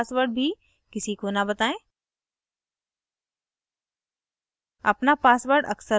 अपने email account का password भी किसी को न बताएं